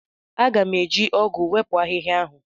M ga-eji ọgụ wepụ ahịhịa ahụ.